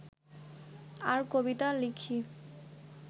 আর কবিতা লিখি